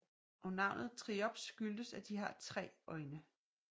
Og navnet triops skyldes at de har 3 øjne